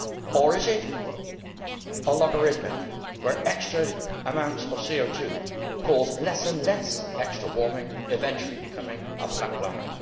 Or is it a logarithmic graph, where extra amounts of CO 2 cause less and less extra warming, eventually becoming a flat line?